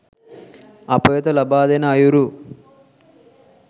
අප වෙත ලබාදෙන අයුරු